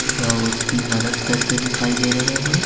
वह उसकी मदद करते दिखाई दे रहे हैं।